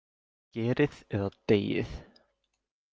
„Gerið eða deyið“.